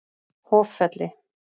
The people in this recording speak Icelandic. Hoffelli